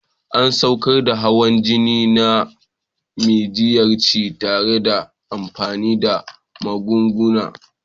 An saukar da hawan jini na majiyyaci tare da amfani da magunguna.